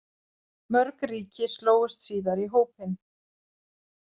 Mörg ríki slógust síðar í hópinn.